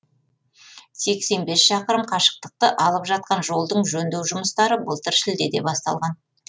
сексен бес шақырым қашықтықты алып жатқан жолдың жөндеу жұмыстары былтыр шілдеде басталған